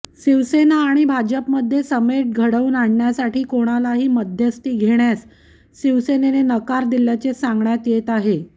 शिवसेना आणि भाजपमध्ये समेट घडवून आणण्यासाठी कोणालाही मध्यस्थी घेण्यास शिवसेनेने नकार दिल्याचे सांगण्यात येत आहे